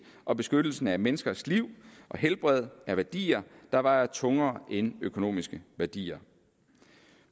og beskyttelsen af menneskers liv og helbred er værdier der vejer tungere end økonomiske værdier